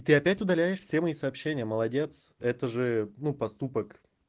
ты опять удаляешь все мои сообщения молодец это же ну поступок